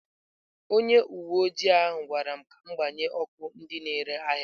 Onye uwe ojii ahụ gwara m ka m gbanye ọkụ ndị na-ere ahịa m.